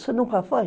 Você nunca foi?